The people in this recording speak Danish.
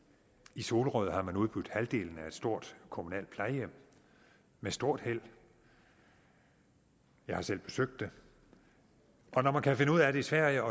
i solrød har man udbudt halvdelen af et stort kommunalt plejehjem med stort held jeg har selv besøgt det og når man kan finde ud af det i sverige